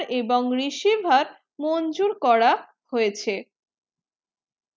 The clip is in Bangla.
এবং receiver মঞ্জুর করা হয়েছে